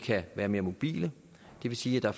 være mere mobile det vil sige at der